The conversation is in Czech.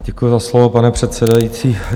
Děkuji za slovo, pane předsedající.